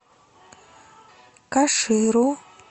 каширу